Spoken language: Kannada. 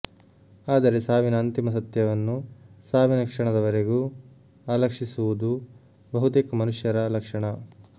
ಆದರೆ ಸಾವಿನ ಅಂತಿಮ ಸತ್ಯವನ್ನು ಸಾವಿನ ಕ್ಷಣದವರೆಗೂ ಅಲಕ್ಷಿಸುವುದು ಬಹುತೇಕ ಮನುಷ್ಯರ ಲಕ್ಷಣ